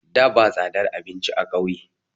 Da ba tsadar abinci a kauye